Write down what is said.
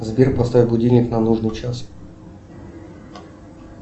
сбер поставь будильник на нужный час